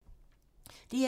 DR2